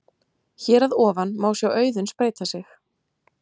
Hér að ofan má sjá Auðunn spreyta sig.